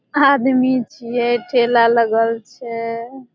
आदमी छिये ठेला लगल छै